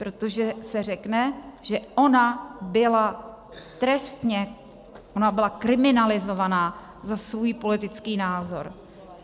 Protože se řekne, že ona byla trestně, ona byla kriminalizovaná za svůj politický názor.